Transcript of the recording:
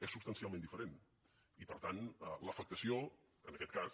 és substancialment diferent i per tant l’afectació en aquest cas